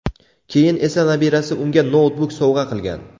Keyin esa nabirasi unga noutbuk sovg‘a qilgan.